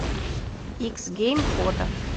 икс гейм фото